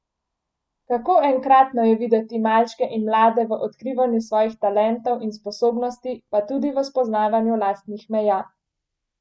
Kako enkratno je videti malčke in mlade v odkrivanju svojih talentov in sposobnosti, pa tudi v spoznavanju lastnih meja!